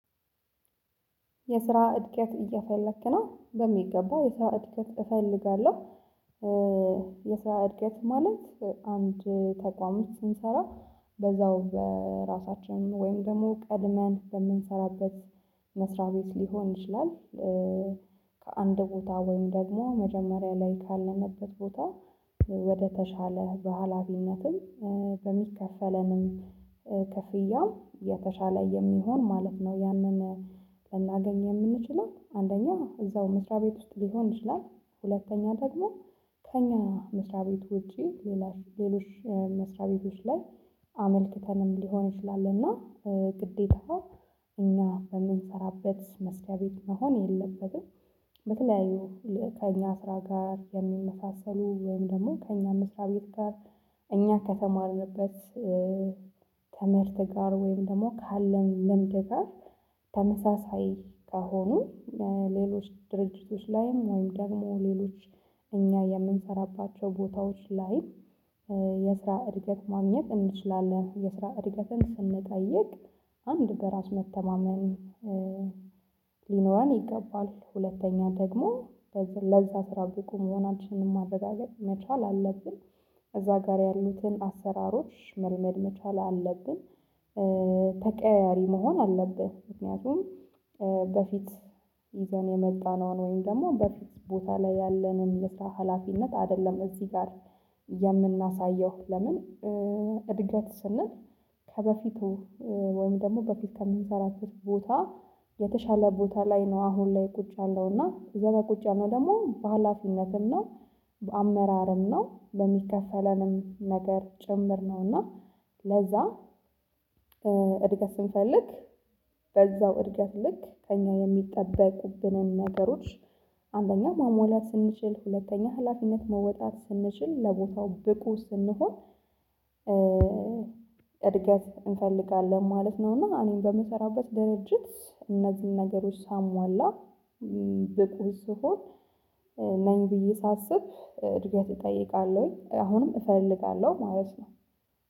የስራ እድገት እየፈለክ ነው? በሚገባ የስራ እድገት እፈልጋለሁ የስራ እድገት ማለት አንድ ተቋም ስንሰራ በዛው በራሳችን ወይም ደግሞ ቀድመን በምንሰራበት መስሪያ ቤት ሊሆን ይችላል ከአንድ ቦታ ወይም ደግሞ መጀመሪያ ላይ ካለንበት ቦታ ወደተሻለ በሃላፊነትም በሚከፈለንም ክፍያው የተሻለ የሚሆን ማለት ነው ያንን ልናገኝ የምንችለው አንደኛ እዛው መስሪያ ቤት ውስጥ ሊሆን ይችላል ሁለተኛ ደግሞ ከኛ መስሪያ ቤት ውጪ ሌሎች መስሪያ ቤቶች ላይ አመልክተንም ሊሆን ይችላል እና ግዴታ እኛ በምንሰራበት መስሪያ ቤት መሆን የለበትም በተለያዩ ከእኛ ስራ ጋር የሚመሳሰሉ ወይም ደግሞ ከእኛ መስሪያ ቤት ጋር እኛ ከተማርንበት ትምህርት ጋር ወይም ደግሞ ካለን ልምድ ጋር ተመሳሳይ ከሆኑ ሌሎች ድርጅቶች ላይም ወይም ደግሞ ሌሎች እኛ የምንሰራባቸው ቦታዎች ላይ የስራ እድገት ማግኘት እንችላለን የስራ እድገትን ስንጠይቅ አንድ በራስ መተማመን ሊኖረን ይገባል ሁለተኛ ደግሞ ለዛ ስራ ብቁ መሆናችንን ማረጋገጥ መቻል አለብን እዛ ጋር ያሉትን አሰራሮች መልመድ መቻል አለብን ተቀያያሪ መሆን አለብን ምክንያቱም በፊት ይዘን የመጣነውን ወይም ደግሞ በፊት ቦታ ላይ ያለንን የስራ ሀላፊነት አይደለም እዚህ ጋር የምናሳየው ለምን እድገት ስንል ከበፊቱ ወይም ደግሞ በፊት ከሚሰራቸው ቦታ የተሻለ ቦታ ላይ ነው አሁን ላይ ቁጭ ያልነው እና እዛጋ ቁጭ ነው ደግሞ በሃላፊነትም ነው በአመራርም ነው በሚከፈለንም ነገር ጭምር ነው ነውና ለዛ እድገት ስንፈልግ በዛው እድገት ልክ ከእኛ የሚጠበቁብንን ነገሮች አንደኛ ማሙአላት ስንችል ሁለተኛ ህላፊነት መወጣት ስንችል ለቦታው ብቁ ስንሆን እድገት እንፈልጋለን ማለት ነው እና እኔን በምሰራበት ድርጅት እነዚህን ነገሮች ሳሟላ ብቁ ስሆን ነኝ ብዬ ሳስብ እድገት እጠይቃለሁኝ አሁንም እፈልጋለሁ ማለት ነው